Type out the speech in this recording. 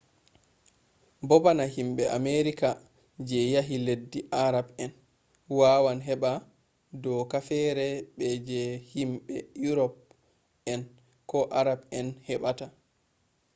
bo bana himɓe amerika je yehi leddi arab en wawan heɓa doka fere be je himɓe urop en ko arab en heɓata